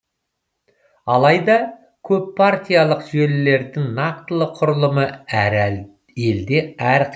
алайда көппартиялық жүйелердің нақтылы құрылымы әр елде әрқилы